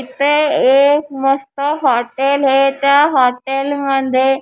इथे एक मस्त हॉटेल हे त्या हॉटेल मंध्ये --